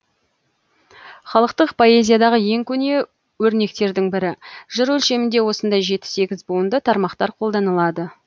халықтық поэзиядағы ең көне өрнектердің бірі жыр өлшемінде осындай жеті сегіз буынды тармақтар қолданылады